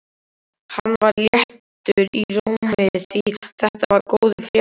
Hann var léttur í rómi því þetta voru góðar fréttir.